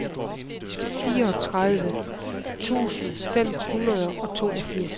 fireogtredive tusind fem hundrede og toogfirs